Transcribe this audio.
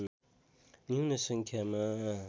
न्यून सङ्ख्यामा